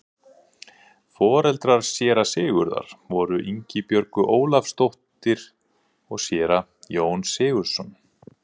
Foreldrar séra Sigurðar voru Ingibjörg Ólafsdóttir og séra Jón Sigurðsson.